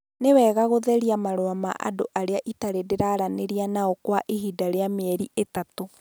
Nĩ wega gũtheria marũa ma andũ arĩa itarĩ ndaranĩria nao kwa ihinda rĩa mĩeri ĩtatũ.